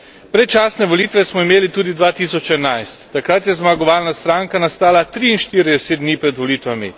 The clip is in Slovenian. Predčasne volitve smo imeli tudi 2011, takrat je zmagovalna stranka nastala 43 dni pred volitvami.